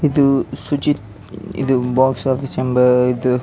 ಇದು Suchit box office ಎಂಬ ಇದು --